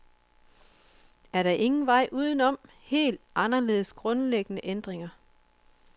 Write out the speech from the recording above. Er der ingen vej udenom helt anderledes grundlæggende ændringer?